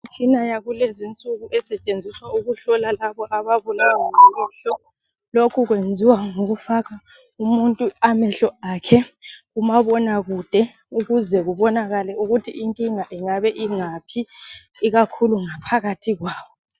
Imitshina yakulezi nsuku esetshenziswa ukuhlola labo ababulawa ngamehlo. Lokho kwenziwa ngokufaka umuntu amehlo akhe kumabonakude ukuze kubonakale ukuthi inkinga ingabe ingaphi ikakhulu ngaphakathi kwawo.